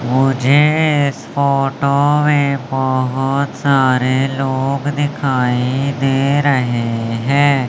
मुझे इस फोटो में बहोत सारे लोग दिखाई दे रहे हैं।